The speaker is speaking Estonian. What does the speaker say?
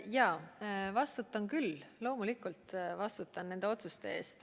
Jaa, vastutan küll, loomulikult ma vastutan nende otsuste eest.